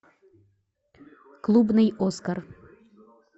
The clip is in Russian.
клубный оскар